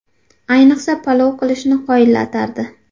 Ayniqsa, palov qilishni qoyillatardi.